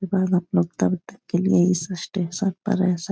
बाद आप लोग कल तक के लिए इस स्टेशन पर रह सक --